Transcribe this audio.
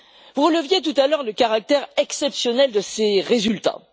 Vous releviez tout à l'heure le caractère exceptionnel de ces résultats.